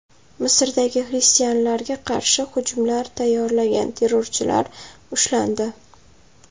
Misrda xristianlarga qarshi hujumlar tayyorlagan terrorchilar ushlandi.